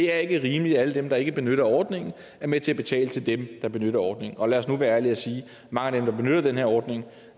er rimeligt at alle dem der ikke benytter ordningen er med til at betale til dem der benytter ordningen og lad os nu være ærlige og sige at mange af dem der benytter den her ordning